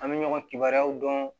An bɛ ɲɔgɔn kibaruyaw dɔn